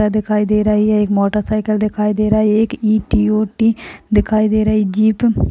दिखाई दे रही है एक मोटरसाइकिल दिखाई दे रही है एक ई टी ओ टी दिखाई दे रही है जीप --